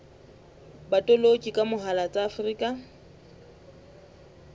botoloki ka mohala tsa afrika